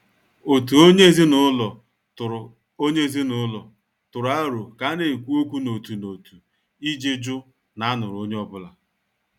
Òtù onye ezinụlọ tụrụ onye ezinụlọ tụrụ aro ka a na-ekwu okwu n' òtù n'òtu iji jụ na a nụrụ onye ọ́bụ̀la.